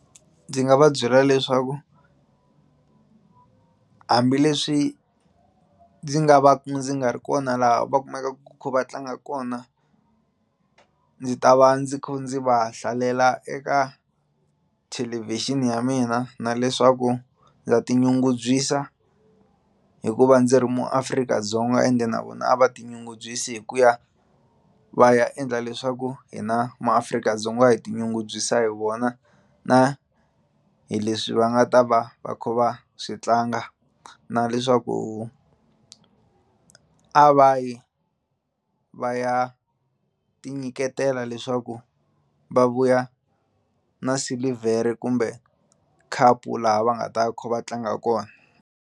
Ndzi nga va byela leswaku hambileswi ndzi nga va ku ndzi nga ri kona laha va kumakaka va kha va tlanga kona ndzi ta va ndzi kha ndzi va hlalela eka thelevixini ya mina na leswaku ndza tinyungubyisa hikuva ndzi ri muAfrika-Dzonga ende na vona a va tinyungubyisi hi ku ya va ya endla leswaku hi na maAfrika-Dzonga hi tinyungubyisa hi vona na hi leswi va nga ta va va kha va swi tlanga na leswaku a va yi va ya ti nyiketela leswaku va vuya na silivhere kumbe khapu laha va nga ta va kha va tlanga kona.